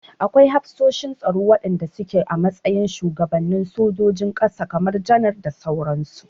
Akwai hafsoshin tsaro wanda suke a matsayin shuwagabanin sojojin ƙasa kamar janar da sauran su.